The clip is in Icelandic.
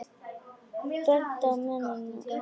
Bent á mennina mína.